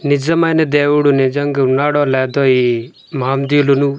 నిజమైన దేవుడు నిజంగా ఉన్నాడో లేదో ఈ --